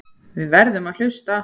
Við verðum að hlusta.